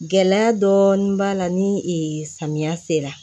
Gɛlɛya dɔɔnin b'a la ni samiya sera